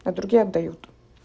а другие отдают